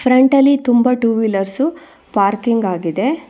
ಫ್ರಂಟಲ್ಲಿ ತುಂಬಾ two wheelers parking ಆಗಿದೆ.